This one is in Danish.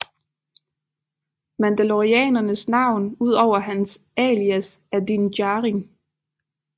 Mandalorianerens navn udover hans alias er Din Djarin